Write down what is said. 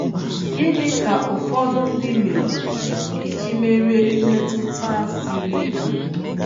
Gịnị ka ụfọdụ ndị meworo iji merie mmetụta a siri ike?